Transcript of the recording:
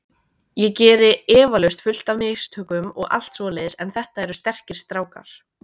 Ég geri eflaust fullt af mistökum og allt svoleiðis en þetta eru sterkir strákar.